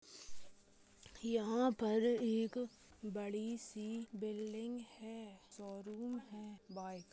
यहाँ पर एक बड़ी सी बिल्डिंग है शोरूम है बाइक --